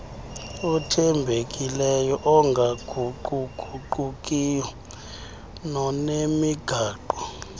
othembekileyo ongaguquguqiyo nonemigaqo